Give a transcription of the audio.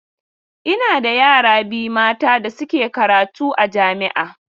Ina da yara biyu mata da suke karatu a jami'a.